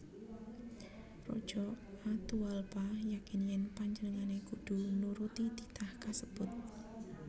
Raja Atahualpa yakin yèn panjenengané kudu nuruti titah kasebut